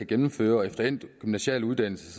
gennemfører og efter endt gymnasial uddannelse